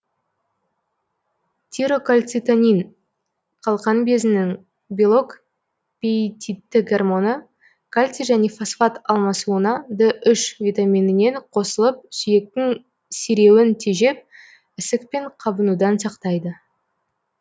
тирокальцитонин қалқан безінің белок пеитидті гормоны кальций және фосфат алмасуына д үш витаминімен қосылып сүйектің сиреуін тежеп ісік пен қабынудан сақтайды